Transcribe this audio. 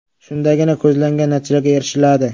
Shundagina ko‘zlangan natijalarga erishiladi.